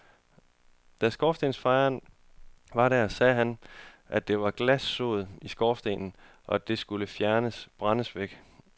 Da skorstensfejeren var der, sagde han, at der var glanssod i skorstenen, og at det skulle fjernes, brændes væk.